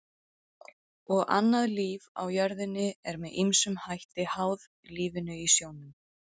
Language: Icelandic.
Og annað líf á jörðinni er með ýmsum hætti háð lífinu í sjónum.